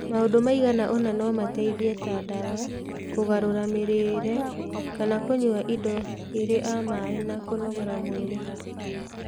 maũndu maigana ũna no mateithie, ta ndawa, kũgarũra mĩrĩĩre kana kũnyua indo irĩ a maĩ na kũnogora mwĩrĩ.